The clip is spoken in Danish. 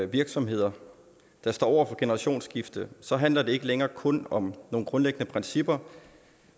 virksomheder der står over for et generationsskifte så handler det ikke længere kun om nogle grundlæggende principper